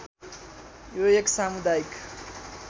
यो एक सामुदायिक